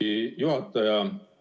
Hea juhataja!